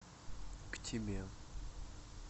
к тебе